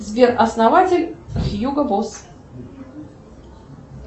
сбер основатель хьюго босс